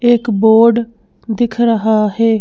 एक बोर्ड दिख रहा है।